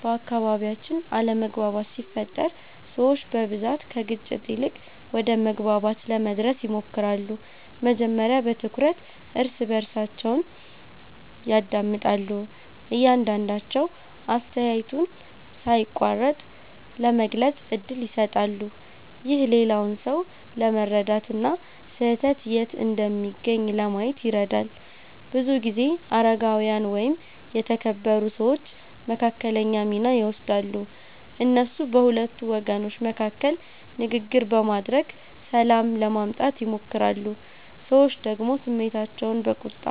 በአካባቢያችን አለመግባባት ሲፈጠር ሰዎች በብዛት ከግጭት ይልቅ ወደ መግባባት ለመድረስ ይሞክራሉ። መጀመሪያ በትኩረት እርስ በርሳቸውን ያዳምጣሉ፣ እያንዳቸዉ አስተያየቱን ሳይቋረጥ ለመግለጽ እድል ይሰጣሉ። ይህ ሌላውን ሰው ለመረዳት እና ስህተት የት እንደሚገኝ ለማየት ይረዳል። ብዙ ጊዜ አረጋዊያን ወይም የተከበሩ ሰዎች መካከለኛ ሚና ይወስዳሉ። እነሱ በሁለቱ ወገኖች መካከል ንግግር በማድረግ ሰላም ለማምጣት ይሞክራሉ። ሰዎች ደግሞ ስሜታቸውን በቁጣ